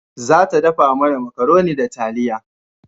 Za ta dafa mana makaroni da taliya